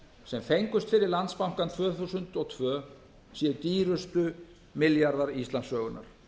sem fengust fyrir landsbankann tvö þúsund og tvö séu dýrustu milljarðar íslandssögunnar